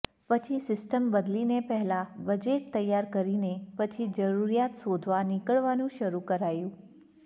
પછી સિસ્ટમ બદલીને પહેલાં બજેટ તૈયાર કરીને પછી જરૂરિયાત શોધવા નીકળવાનું શરૂ કરાયું